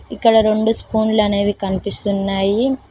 ఇక్కడ రెండు స్పూన్లు అనేవి కనిపిస్తున్నాయి.